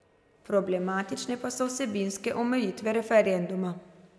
Problematične pa so vsebinske omejitve referenduma.